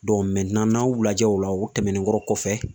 n'a y'u lajɛ o la u tɛmɛnenkɔrɔ kɔfɛ